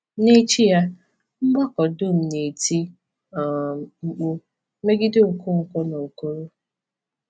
N’echi ya, mgbakọ dum na-eti um mkpu megide Okonkwo na Okoro.